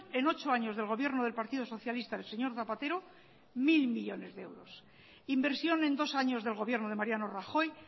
en ocho años de gobierno del partido socialista del señor zapatero mil millónes de euros inversión en dos años del gobierno de mariano rajoy